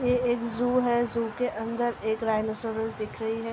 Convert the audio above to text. ये एक ज़ू है। ज़ू के अंदर एक राइनसौरस दिख रही है।